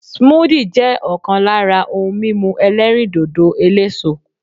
Smoothie' jẹ́ òkan lára ohun mímu elérìndòdò eléso